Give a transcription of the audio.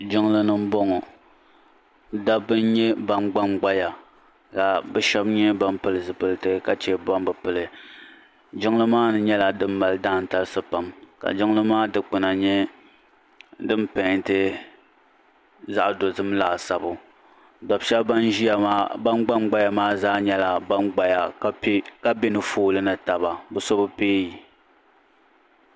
Jiŋlini m boŋɔ dabba n nyɛ ban gbangbaya ka bɛ sheba nyɛ ban pili zipiliti sheba ban bi pili jiŋli maani nyɛla din mali daantalisi pam ka jiŋli maa dikpina nyɛla din penti zaɣa dozim laasabu dab'sheba ban gban gbaya maa zaa nyɛla ban gbaya ka piɛ ka be ni foolii ni taba bɛ so bi peeyi.